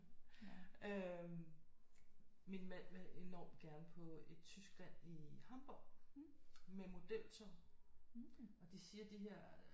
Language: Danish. Øh min mand vil enormt gerne på et Tyskland i Hamborg med modeltog og de siger de her